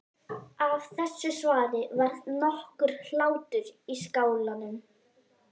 Af þessu svari varð nokkur hlátur í skálanum.